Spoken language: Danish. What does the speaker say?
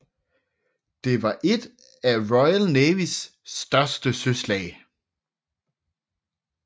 Det var et af Royal Navys største søslag